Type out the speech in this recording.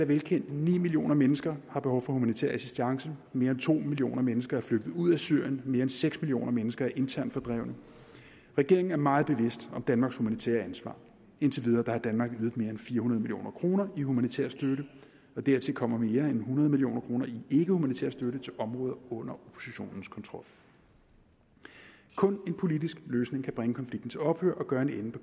velkendte ni millioner mennesker har behov for humanitær assistance mere end to millioner mennesker er flygtet ud af syrien mere end seks millioner mennesker er internt fordrevne regeringen er meget bevidst om danmarks humanitære ansvar indtil videre har danmark ydet mere end fire hundrede million kroner i humanitær støtte og dertil kommer mere end hundrede million kroner i ikkehumanitær støtte til områder under oppositionens kontrol kun en politisk løsning kan bringe konflikten til ophør og gøre en ende på